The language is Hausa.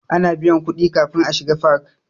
Ana biyan kuɗi kafin a shiga fak.